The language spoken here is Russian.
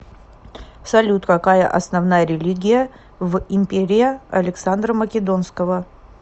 салют какая основная религия в империя александра македонского